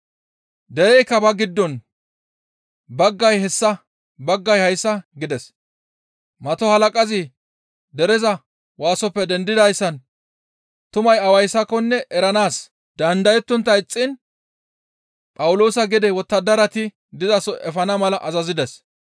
Dereykka ba giddon baggay hessa, baggay hayssa gides; Mato halaqazi dereza waasoppe dendidayssan tumay awayssakonne eranaas dandayettontta ixxiin Phawuloosa gede wottadarati dizaso efana mala azazides.